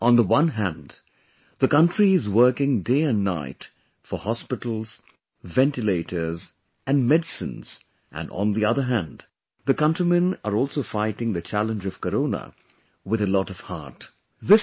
Meaning, on the one hand, the country is working day and night for hospitals, ventilators and medicines and on the other hand, the countrymen are also fighting the challenge of Corona with a lot of heart